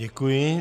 Děkuji.